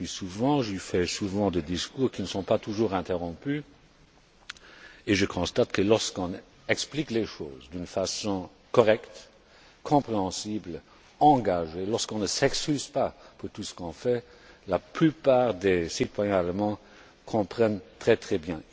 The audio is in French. J'y suis souvent, j'y fais souvent des discours qui ne sont pas toujours interrompus et je constate que, lorsqu'on explique les choses de façon correcte, compréhensible, engagée, lorsqu'on ne s'excuse pas pour tout ce que l'on fait, la plupart des citoyens allemands comprennent très bien.